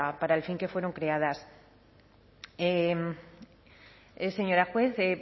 para el fin que fueron creadas señora juez bueno